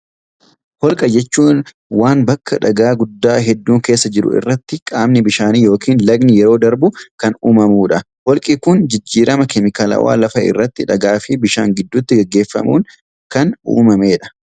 Holqa jechuun waan bakka dhagaa guddaa hedduun keessa jiru irratti qaamni bishaanii yokin lagni yeroo darbu kan uumamuu dha. Holqi kun jijjirama keemikaalawaa lafa irratti dhagaa fi bishaan gidduutti gaggeeffamuun kan uumamee dha.